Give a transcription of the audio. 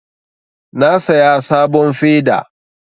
Na saya sabon feda